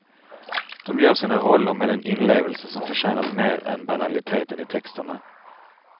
De gör sina roller med en inlevelse som förtjänat mer än banaliteten i texterna.